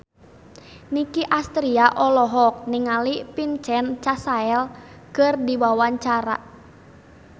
Nicky Astria olohok ningali Vincent Cassel keur diwawancara